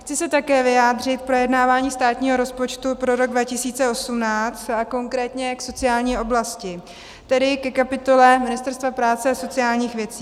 Chci se také vyjádřit k projednávání státního rozpočtu pro rok 2018 a konkrétně k sociální oblasti, tedy ke kapitole Ministerstva práce a sociálních věcí.